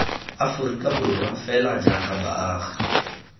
aforika borwa fela jaaka baagi